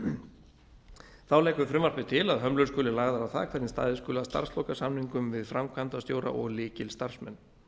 vettvangi þá leggur frumvarpið til að hömlur skuli lagðar á það hvernig staðið skuli að starfslokasamningum við framkvæmdastjóra og lykilstarfsmenn